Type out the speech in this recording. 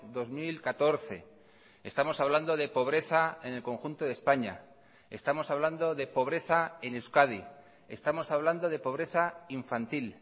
dos mil catorce estamos hablando de pobreza en el conjunto de españa estamos hablando de pobreza en euskadi estamos hablando de pobreza infantil